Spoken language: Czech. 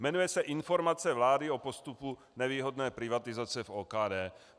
Jmenuje se Informace vlády o postupu nevýhodné privatizace v OKD.